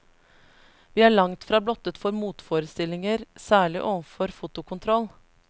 Vi er langtfra blottet for motforestillinger, særlig overfor fotokontroll.